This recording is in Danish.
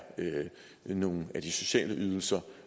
nogle af de sociale ydelser